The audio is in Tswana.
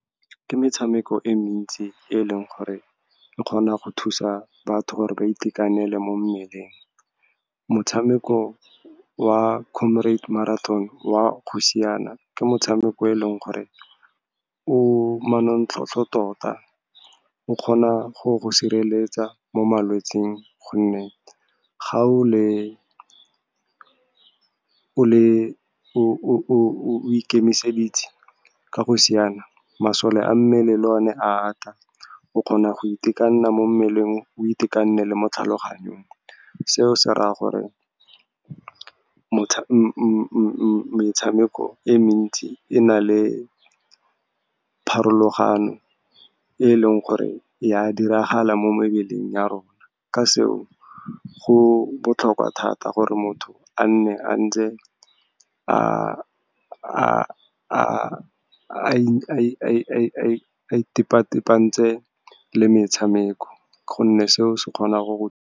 Ke metshameko e mentsi e leng gore e kgona go thusa batho gore ba itekanele mo mmeleng. Motshameko wa comrade marathon wa go siana, ke motshameko eleng gore o manontlhotlho tota. O kgona go go sireletsa mo malwetseng, gonne ga o ikemiseditse ka go siana, masole a mmele a , o kgona go itekanela mo mmeleng, o itekanele mo tlhaloganyong. Seo se raya gore metshameko e mentsi e na le pharologano e leng gore ya diragala mo mebeleng ya rona. Ka seo, go botlhokwa thata gore motho a nne a ntse a itepatepantse le metshameko, gonne seo se kgona go.